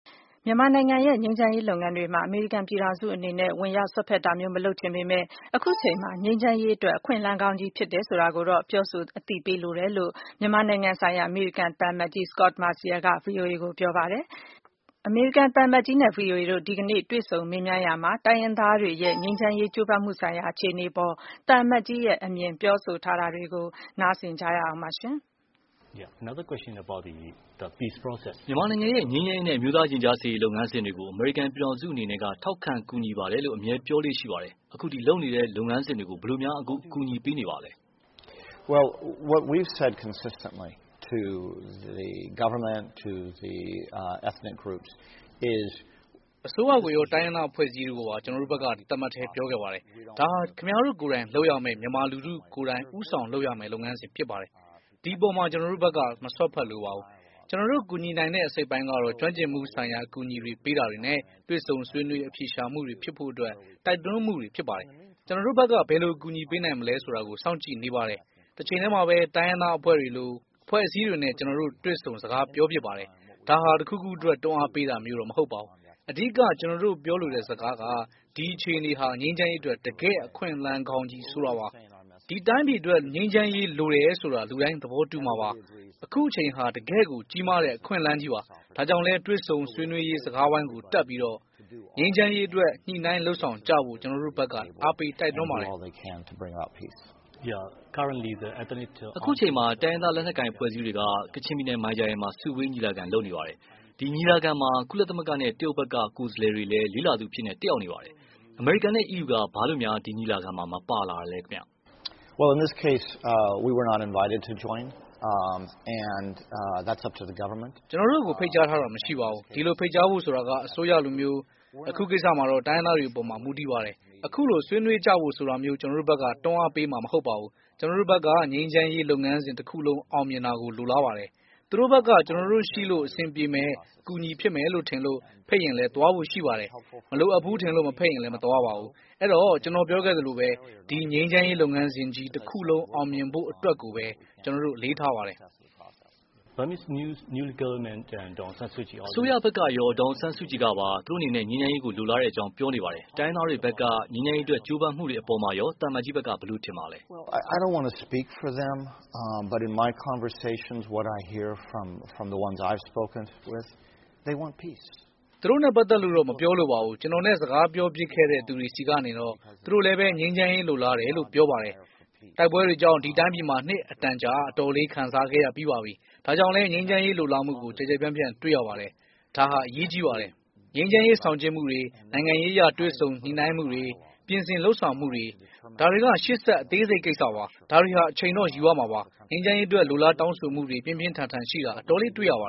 မြန်မာနိုင်ငံရဲ့ ငြိမ်းချမ်းရေးလုပ်ငန်းတွေမှာ အမေရိကန်ပြည်ထောင်စုအနေနဲ့ ဝင်ရောက်စွက်ဖက်တာမျိုး မလုပ်ချင်ပေမယ့်၊ အခုအချိန်မှာ ငြိမ်းချမ်းရေးအတွက် အခွင့်အလမ်းကောင်းကြီးဖြစ်တယ်ဆိုတာကိုတော့ ပြောဆို အသိပေးလိုတယ် လို့ မြန်မာနိုင်ငံဆိုင်ရာ အမေရိကန်သံအမတ်ကြီး Scot Marciel က ဗွီအိုအေကို ပြောပါတယ်။ အမေရိကန်သံအမတ်ကြီးနဲ့ ဗွီအိုအေမြန်မာပိုင်းက ကိုသားညွန့်ဦးတို့ ဒီကနေ့ တွေ့ဆုံမေးမြန်းရာမှာ တိုင်းရင်းသားတွေရဲ့ငြိမ်းချမ်းရေး ကြိုးပမ်းမှုဆိုင်ရာ အခြေအနေအပေါ် သံအမတ်ကြီးရဲ့ အမြင်ပြောဆိုထားတာကို နားဆင်နိုင်ပါတယ်။ မြန်မာနိုင်ငံရဲ့ ငြိမ်းချမ်းရေးနဲ့ အမျိုးသားရင်ကြားစေ့ရေး လုပ်ငန်းစဉ်တွေကို အမေရိကန်ပြည်ထောင်စုအနေနဲ့ ထောက်ခံကူညီပါတယ်လို့ အမြဲပြောလေ့ရှိပါတယ်။ အခု လုပ်နေတဲ့ ဒီလုပ်ငန်းစဉ်တွေကို ဘယ်လိုများ အကူအညီပေးနေပါသလဲ။ အစိုးရကိုရော တိုင်းရင်းသား အဖွဲ့အစည်းတွေကိုပါ ကျနော်တို့ဘက်က တသားမတ်တည်းပြောခဲ့ပါတယ်။ ဒါဟာ ခင်ဗျားတို့ကိုယ်တိုင် လုပ်ရမယ့် မြန်မာလူထုကိုယ်တိုင် ဦးဆောင်လုပ်ရမယ့် လုပ်ငန်းစဉ်ဖြစ်ပါတယ်။ ဒီအပေါ်မှာ ကျနော်တို့ဘက်က မစွတ်ဖက်လိုပါဘူး။ ကျနော်တို့ ကူညီနိုင်တဲ့အစိတ်အပိုင်းကတော့ ကျွမ်းကျင်မှုဆိုင်ရာ အကူအညီပေး တာတွေနဲ့ တွေ့ဆုံဆွေးနွေးအဖြေရှာမှုတွေဖြစ်ဖို့ တိုက်တွန်းမှုတွေ ဖြစ်ပါတယ်။ ကျနော်တို့ဘက်က ဘယ်လို အကူအညီပေးနိုင်မလဲဆိုတာ စောင့်ကြည့်နေပါတယ်။ တချိန်တည်းမှာပဲ တိုင်းရင်းသားအဖွဲ့တွေလို့ အဖွဲ့အစည်းတွေနဲ့ ကျနော်တို့ တွေ့ဆုံစကားပြောဖြစ်ပါတယ်။ ဒါဟာ တခုခုအတွက် တွန်းအားပေးတာမျိုးတော့ မဟုတ်ပါဘူး။ အဓိက ကျနော်တို့ ပြောလိုတဲ့ စကားက ဒီအခြေအနေ ဟာ ငြိမ်းချမ်းရေးအတွက် တကယ့် အခွင့်အလမ်းကောင်းကြီး ဆိုတာပါ။ ဒီတိုင်းပြည်အတွက် ငြိမ်းချမ်းရေးလိုတယ်ဆိုတာ လူတိုင်းသဘောတူမှာပါ။ အခုအချိန်ဟာ တကယ့်ကို ကြီးမားတဲ့ အခွင့်အလမ်းကြီးပါ။ ဒါကြောင့်လည်း တွေ့ဆုံဆွေးနွေးရေးစကားဝိုင်းကို တက်လာပြီး ငြိမ်းချမ်းရေးအတွက် ညှိနှိုင်းလုပ်ဆောင်ကြဖို့ ကျနော်တို့ဖက် အားပေးတိုက်တွန်းပါတယ်။ အခုအချိန်မှာ တိုင်းရင်းသားလက်နက်ကိုင်အဖွဲ့အစည်းတွေက ကချင်ပြည်နယ်မိုင်ဂျာယန်မှာ စုဝေး ညီလာခံလုပ်နေပါတယ်။ အဲဒီ ညီလာခံမှာ ကုလသမဂ္ဂနဲ့ တရုတ်က ကိုယ်စားလှယ်တွေလည်း လေ့လာသူအဖြစ် တတ်ရောက်နေပါတယ်။ အမေရိကန်နဲ့ EU က ဘာလို ဒီညီလာခံမှာ မပါတာပါလဲ။ ကျနော်တို့ကို ဖိတ်ကြားထားတာ မရှိပါဘူး။ ဒီလို ဖိတ်ကြားဖို့ဆိုတာ အစိုးရလိုမျိုး၊ အခုကိစ္စမျာတော့ တိုင်းရင်းသားတွေ အပေါ် မူတည်ပါတယ်။ အခုလို စုဝေးဆွေးနွေးကြဖို့ဆိုတာမျိုး ကျနော်တို့ဘက် တွန်းအားပေးမှာမဟုတ်ပါဘူး။ ကျနော်တို့ဘက်ကတော့ ငြိမ်းချမ်းရေး လုပ်ငန်းစဉ်တခုလုံး အောင်မြင်တာကို လိုလားပါတယ်။ သူတို့ဘက်က ကျနေ်ာတို့ရှိလို့ အဆင်ပြေမယ် အကူအညီဖြစ်မယ်လို့ ထင်လို့ ဖိတ်ရင်လည်း သွားဖို့ရှိပါတယ်။ မလိုအပ်ဘူးထင်လို့ မဖိတ်ရင်လည်း မသွားပါဘူး။ အဲတော့ ကျနော်ပြောခဲ့သလိုပဲ ဒီ ငြိမ်းချမ်းရေး လုပ်ငန်းစဉ်ကြီး တခုလုံး အောင်မြင်ဖို့ အတွက်ကိုပဲ ကျနော်တို့ အလေးထားပါတယ်။ အစိုးရဘက်ကရော ဒေါ်အောင်ဆန်းစုကြည်ကပါ သူတို့အနေနဲ့ ငြိမ်းချမ်းရေးကို လိုလားတယ်လို့ ပြောနေပါတယ်။ တိုင်းရင်းသားတွေဘက်က ငြိမ်းချမ်းရေး အတွက် ကြိုးပမ်းမှုတွေအပေါ်မှာရော သံအမတ်ကြီး ဘယ်လို ထင်ပါသလဲ။ သူတို့နဲ့ပတ်သက်လို့တော့ မပြောလိုပါဘူး။ ကျနေ်ာနဲ့ စကားပြောဖြစ်တဲ့သူတွေဆီကတော့ သူတို့လည်းပဲ ငြိမ်းချမ်းရေး လိုလားတယ်လို့ ပြောပါတယ်။ တိုက်ပွဲတွေကြောင့် ဒီတိုင်းပြည်ဟာ နှစ်အတန်ကြား အတော်လေး ခံစားခဲ့ရပါပြီ။ဒါကြောင့်လည်း ငြိမ်းချမ်းရေးလိုလားမှုကို ကျယ်ကျယ်ပြန့်ပြန့်တွေ့ရပါတယ်။ ဒါဟာ အရေးကြီးပါတယ်။ ငြိမ်းချမ်းရေးဆောင်ကျဉ်းမှုတွေ နိုင်ငံရေး အရ တွေ့ဆုံညှိနှိုင်းမှုတွေ ပြင်ဆင်လုပ်ဆောင်မှုတွေ ဒါတွေ့ ရှေ့ဆက် အသေးစိတ်ကိစ္စပါ။ ဒါတွေဟာ အချိန်တော့ ယူရမှာပါ။ ငြိမ်းချမ်းရေးအတွက် လိုလားတောင်းဆိုမှုတွေ ပြင်းပြင်းထန်ထန်ရှိတာ အတော်လေး တွေ့ရပါ